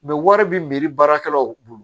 wari bi miiri baarakɛlaw bolo